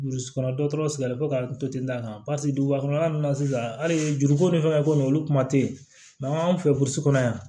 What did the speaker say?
Burusi kɔnɔ dɔtɔ sɛgɛnlen fɔ ka n to ten d'a kan paseke duguba kɔnɔla ninnu na sisan hali juruko ni fɛnw bɛ ko ninnu olu kuma tɛ yen mɛ an fɛ burusi kɔnɔ yan